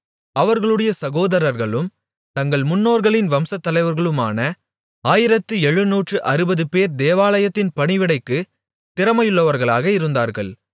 அவர்களுடைய சகோதரர்களும் தங்கள் முன்னோர்களின் வம்சத்தலைவர்களான ஆயிரத்து எழுநூற்று அறுபதுபேர் தேவாலயத்தின் பணிவிடைக்குத் திறமையுள்ளவர்களாக இருந்தார்கள்